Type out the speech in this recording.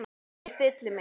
Ég stilli mig.